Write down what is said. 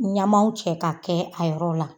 Ɲamanw cɛ ka kɛ a yɔrɔ la.